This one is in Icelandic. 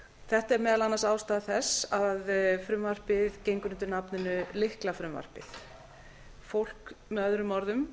þetta er meðal annars ástæða þess að frumvarpið gengur undir nafninu lyklafrumvarpið með öðrum orðum